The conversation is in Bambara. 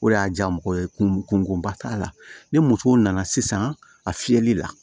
O de y'a diya mɔgɔ ye kungoba t'a la ni muso nana sisan a fiyɛli la